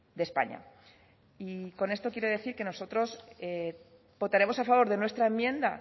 de españa con esto quiero decir que nosotros votaremos a favor de nuestra enmienda